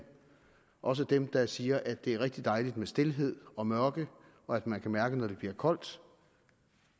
også dem der siger at det er rigtig dejligt med stilhed og mørke og at man kan mærke når det bliver koldt